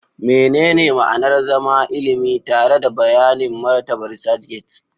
Menene ma'anar zama ilimi tare da bayanin martabar ResearchGate?